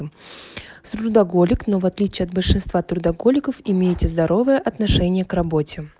с трудоголик но в отличие от большинства трудоголиков имеете здоровое отношение к работе